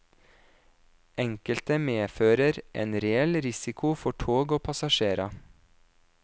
Enkelte medfører en reell risiko for tog og passasjerer.